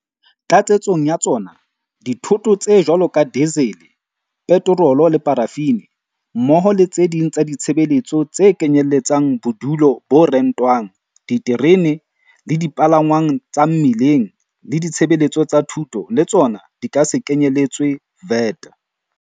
Tlatsetsong ya tsona, dithoto tse jwalo ka dizele, petorolo le parafini, mmoho le tse ding tsa ditshebeletso tse kenyelletsang bodulo bo rentwang, diterene le dipalangwang tsa mmileng le ditshebeletso tsa thuto le tsona di ka se kenyeletswe VAT.